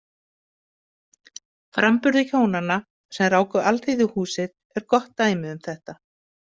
Framburður hjónanna sem ráku Alþýðuhúsið er gott dæmi um þetta.